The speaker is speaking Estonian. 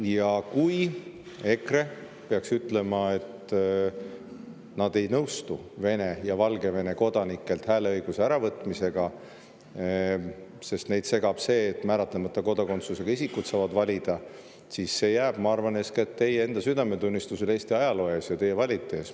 Ja kui EKRE peaks ütlema, et nad ei nõustu Vene ja Valgevene kodanikelt hääleõiguse äravõtmisega, sest neid segab see, et määratlemata kodakondsusega isikud saavad valida, siis see jääb, ma arvan, eeskätt teie enda südametunnistusele Eesti ajaloo ees ja teie valijate ees.